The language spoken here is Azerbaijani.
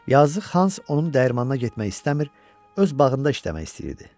Yazıq Hans onun dəyirmanına getmək istəmir, öz bağında işləmək istəyirdi.